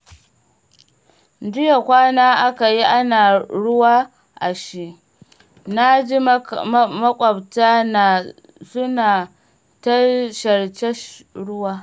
Jiya kwana aka yi ana ruwa ashe? na ji maƙwabta na suna ta sharce ruwa